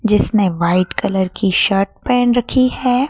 जिसने white colour की shirt पहेन रखी है।